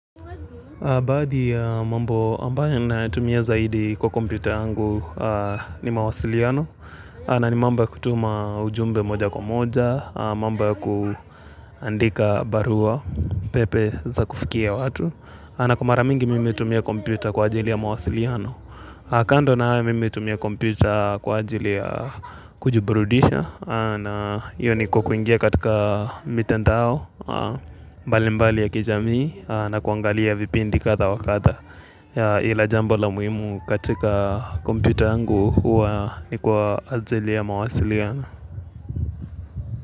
Baadhi ya mambo ambayo natumia zaidi kwa kompyuta yangu ni mawasiliano na ni mambo ya kutuma ujumbe moja kwa moja, mambo ya kuandika barua pepe za kufikia watu. Na kwa mara mingi mimi hutumia kompyuta kwa ajili ya mawasiliano. Kando na haya mimi hutumia kompyuta kwa ajili ya kujiburudisha. Iyo ni kuingia katika mitandao mbalimbali ya kijamii, na kuangalia vipindi kadha wa kadha. Ila jambo la muhimu katika kompyuta yangu huwa ni kwa ajili ya mawasiliano.